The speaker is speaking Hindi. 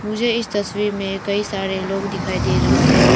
मुझे इस तस्वीर में कई सारे लोग दिखाई दे रहा है।